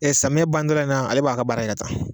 samiyɛ ban dɔ la in ale b'a ka baara kɛ tan